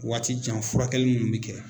Waati jan furakɛli munnu mɛ kɛ.